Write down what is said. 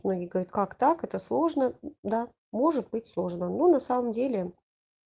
смотри говорит как так это сложно да может быть сложно на самом деле